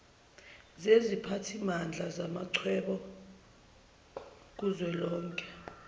seziphathimandla zamachweba kuzwelonke